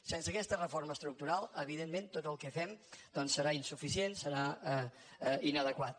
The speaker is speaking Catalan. sense aquesta reforma estructural evidentment tot el que fem doncs serà insuficient serà inadequat